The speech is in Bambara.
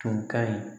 Tun ka ɲi